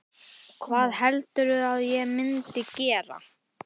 Hvað heldurðu að ég myndi gera?